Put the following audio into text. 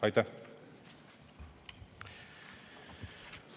Aitäh!